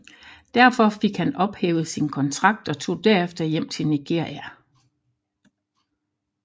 Derfor fik han ophævet sin kontrakt og tog derefter hjem til Nigeria